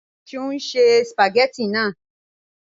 Ṣe o n ṣe spagétì naa?